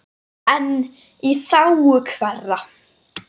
En í þágu hverra?